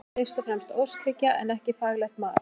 Þetta er fyrst og fremst óskhyggja en ekki faglegt mat.